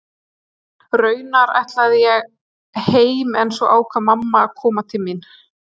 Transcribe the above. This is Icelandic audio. Raunar ætlaði ég heim en svo ákvað mamma að koma til mín.